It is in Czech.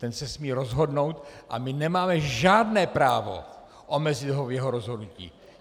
Ten se smí rozhodnout a my nemáme žádné právo omezit ho v jeho rozhodnutí.